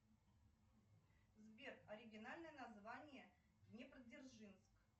сбер оригинальное название днепродзержинск